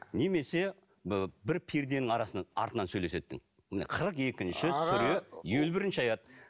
немесе бір перденің арасынан артынан сөйлеседі міне қырық екінші сүре елу бірінші аят